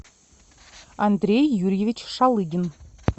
андрей юрьевич шалыгин